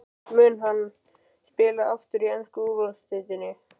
Mun hann spila aftur í ensku úrvalsdeildinni?